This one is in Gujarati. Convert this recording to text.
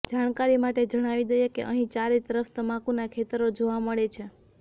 જાણકારી માટે જણાવી દઈએ કે અહીં ચારેય તરફ તમાકુનાં ખેતરો જોવા મળે છે